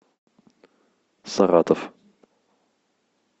саратов